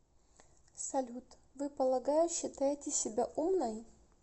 салют вы полагаю считаете себя умной